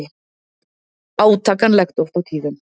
Átakanlegt oft á tíðum.